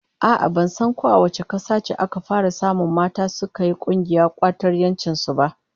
A'a ,ban san ko a wace kasa ce aka fara samun mata suka yi kungiyar kwatar 'yancin su ba.